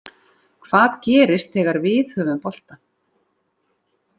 Hvað gerist þegar við höfum boltann